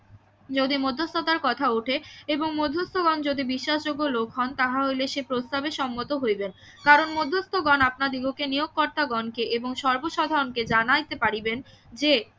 যদি মধ্যস্থতার কথা ওঠে এবং মধ্যস্থ গণ যদি বিশ্বাসযোগ্য লোক হন তাহলে সে প্রস্তাবে সম্মত হইবেন কারণ মধ্যস্থ গণ আপনাদিগকে নিয়োগকর্তা গণ কে এবং সর্বসাধারণকে জানাইতে পারিবেন যে